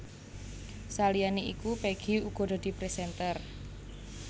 Saliyané iku Peggy uga dadi présènter